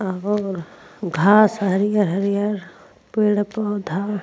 और घास हरिहर-हरिहर पेड़-पौधा --